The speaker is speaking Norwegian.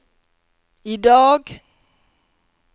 idag